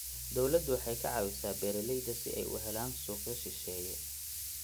Dawladdu waxay ka caawisaa beeralayda si ay u helaan suuqyo shisheeye.